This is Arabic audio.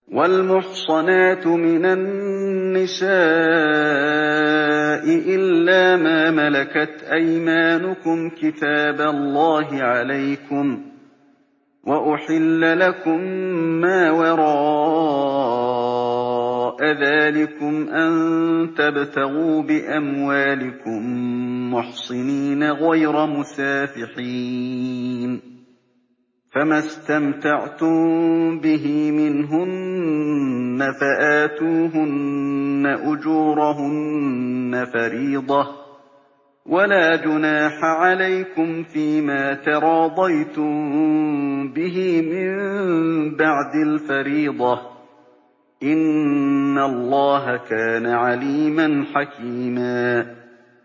۞ وَالْمُحْصَنَاتُ مِنَ النِّسَاءِ إِلَّا مَا مَلَكَتْ أَيْمَانُكُمْ ۖ كِتَابَ اللَّهِ عَلَيْكُمْ ۚ وَأُحِلَّ لَكُم مَّا وَرَاءَ ذَٰلِكُمْ أَن تَبْتَغُوا بِأَمْوَالِكُم مُّحْصِنِينَ غَيْرَ مُسَافِحِينَ ۚ فَمَا اسْتَمْتَعْتُم بِهِ مِنْهُنَّ فَآتُوهُنَّ أُجُورَهُنَّ فَرِيضَةً ۚ وَلَا جُنَاحَ عَلَيْكُمْ فِيمَا تَرَاضَيْتُم بِهِ مِن بَعْدِ الْفَرِيضَةِ ۚ إِنَّ اللَّهَ كَانَ عَلِيمًا حَكِيمًا